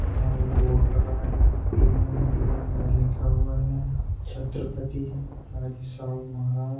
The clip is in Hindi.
यहा एक बोर्ड लगा है पी _एन _पी _एन लिखा हुआ है छत्रपती राजर्षी शाहू महाराज--